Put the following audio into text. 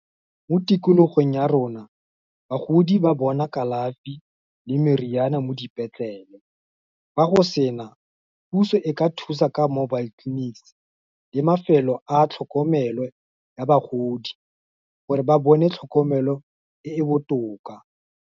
Mo tikologong ya rona, bagodi ba bona kalafi le meriana mo dipetleleng, ga go sena, puso e ka thusa ka mobile clinics, le mafelo a tlhokomelo ya bagodi, gore ba bone tlhokomelo e e botoka.